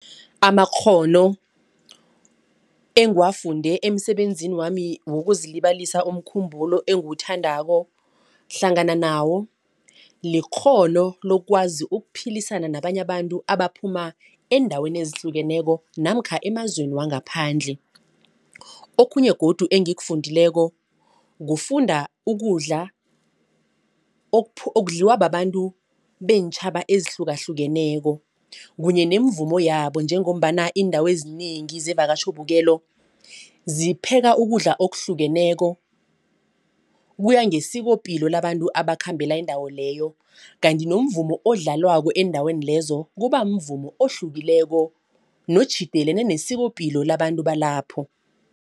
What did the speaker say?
Amakghono engiwafunde emsebenzini wami wokuzilibazisa umkhumbulo engiwuthandako. Hlangana nawo likghono lokwazi ukuphilisana nabanye abantu abaphuma eendaweni ezihlukeneko namkha emazweni wangaphandle. Okhunye godu engikufundileko kufunda ukudla okudliwa babantu beentjhaba ezihlukahlukeneko kunye nomvumo wabo njengombana iindawo ezinengi zevakatjhobukelo zipheka ukudla okuhlukeneko kuya ngesikopilo labantu abakhambela indawo leyo. Kanti nomvumo odlalwako eendaweni lezo kuba mvumo ohlukileko notjhidelene nesikopilo labantu balapho.